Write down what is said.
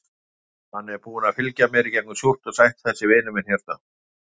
Hann er búinn að fylgja mér í gegnum súrt og sætt, þessi vinur minn hérna.